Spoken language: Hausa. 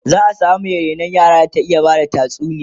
za'a samu Mai rainon yara da ta iya Bada tatsuniya